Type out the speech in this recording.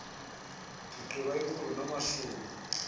ndigqiba ikhulu namashumi